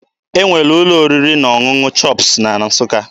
E nwere ụlọ oriri na ọṅụṅụ CHOPS na Nsụka.